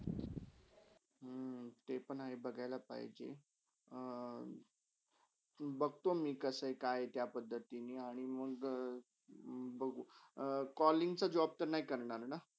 हम्म ते पण बघायला पाहिजे अं बघतो मी कसा - काय आहे ती त्या पद्धतिनि आणि मंग बघू कॉलींग्चा job तर नाही करनार ना?